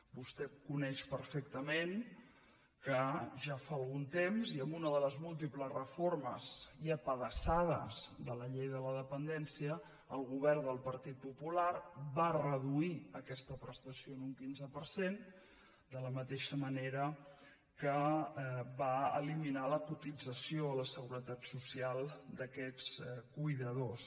vostè co·neix perfectament que ja fa algun temps i amb una de les múltiples reformes i apedaçades de la llei de la dependència el govern del partit popular va reduir aquesta prestació en un quinze per cent de la mateixa ma·nera que va eliminar la cotització a la seguretat social d’aquests cuidadors